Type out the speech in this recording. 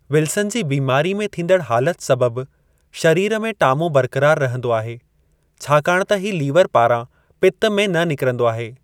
Wilson ji बीमारी में थींदड़ हालत सबबि शरीर में टामो बरक़रारु रहंदो आहे, छाकाणि त ही लीवरु पारां पित्त में न निकरंदो आहे।